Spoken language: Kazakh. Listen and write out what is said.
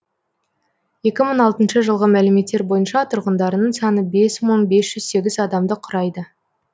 екі мың алтыншы жылғы мәліметтер бойынша тұрғындарының саны бес мың бес жүз сегіз адамды құрайды